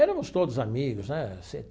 Éramos todos amigos, né assim?